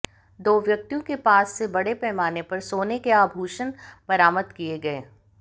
दो व्यक्तियों के पास से बड़े पैमाने पर सोने के आभूषण बरामद किये गये